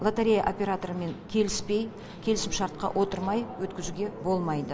лотерея операторымен келіспей келісімшартқа отырмай өткізуге болмайды